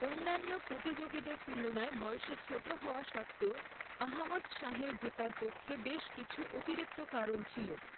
অন্যান্য প্রতিযোগীদের তুলনায় বয়সে ছোট হওয়া সত্ত্বেও, আহমদ শাহের জেতার পক্ষে বেশ কিছু অতিরিক্ত কারণ ছিল।